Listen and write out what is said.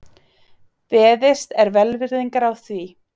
Beðist er velvirðingar á því